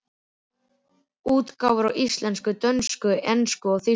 Útgáfur á íslensku, dönsku, ensku og þýsku.